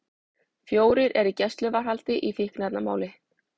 Fjórir í gæsluvarðhald í fíkniefnamáli